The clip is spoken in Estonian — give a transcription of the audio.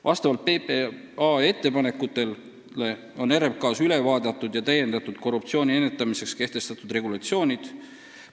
Vastavalt PPA ettepanekutele on RMK-s korruptsiooni ennetamiseks kehtestatud regulatsioonid üle vaadatud ja täiendatud.